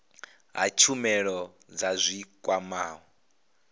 ha tshumelo dza zwi kwamaho